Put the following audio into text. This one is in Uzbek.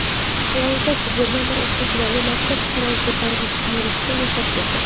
Florida gubernatori o‘qituvchilarga maktabda qurol ko‘tarib yurishga ruxsat berdi.